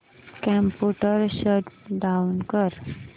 computer shut down कर